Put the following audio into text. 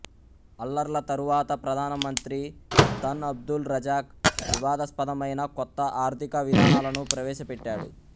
అల్లర్ల తరువాత ప్రధానమంత్రి Tun Abdul Razak వివాదాస్పదమైన కొత్త ఆర్ధికవిధానాలను ప్రవేశపెట్టాడు